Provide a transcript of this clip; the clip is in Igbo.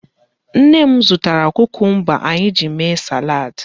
Nne m zụtara kukumba anyị ji mee salaadị.